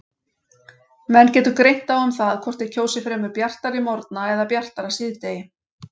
Menn getur greint á um það hvort þeir kjósi fremur bjartari morgna eða bjartara síðdegi.